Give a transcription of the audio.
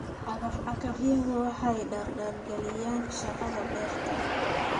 Cagaf-cagafyadu waxay dardargeliyaan shaqada beerta.